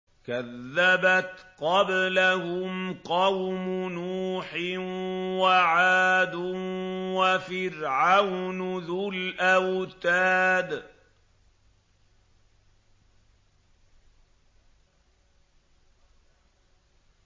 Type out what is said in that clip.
كَذَّبَتْ قَبْلَهُمْ قَوْمُ نُوحٍ وَعَادٌ وَفِرْعَوْنُ ذُو الْأَوْتَادِ